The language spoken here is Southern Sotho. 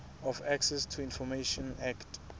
of access to information act